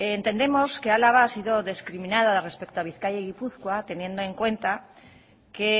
entendemos que álava ha sido discriminada respecto a bizkaia y gipuzkoa teniendo en cuenta que